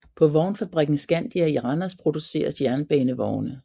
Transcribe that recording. På vognfabrikken Scandia i Randers producers jernbanevogne